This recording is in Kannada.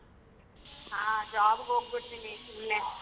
ಹ job ಗ್ ಹೋಗ್ಬಿಡ್ತೀನಿ ಸುಮ್ನೆ.